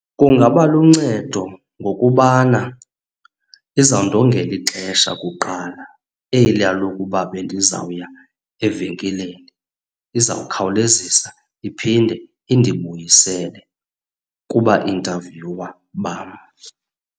Kungaba luncedo ngokubana izawundongela ixesha kuqala eliya lokuba bendizawuya evenkileni. Izawukhawulezisa iphinde indibuyisele kuba intavyuwa bam.